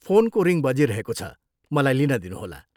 फोनको रिङ बजिरहेको छ, मलाई लिन दिनुहोला।